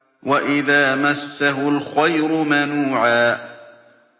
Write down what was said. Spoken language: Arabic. وَإِذَا مَسَّهُ الْخَيْرُ مَنُوعًا